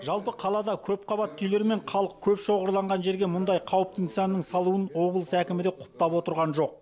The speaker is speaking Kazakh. жалпы қалада көпқабатты үйлер мен халық көп шоғырланған жерге мұндай қауіпті нысанның салуын облыс әкімі де құптап отырған жоқ